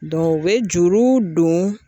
u bɛ juru don.